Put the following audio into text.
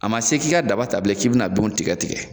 A ma se k'i ka daba ta bilen k'i be na binw tigɛ tigɛ.